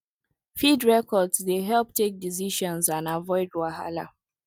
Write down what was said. feed records dey help take decisions and avoid wahala